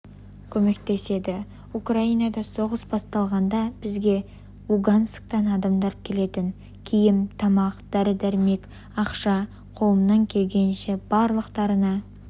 көмектеседі украинада соғыс басталғанда бізге лугансктан адамдар келетін киім тамақ дәрі-дәрімек ақша қолымнан келгенінше барлықтарына